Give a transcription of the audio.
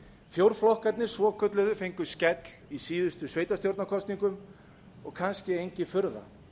fjórflokkarnir svokölluðu fengu skell í síðustu sveitarstjórnarkosningum og kannski engin furða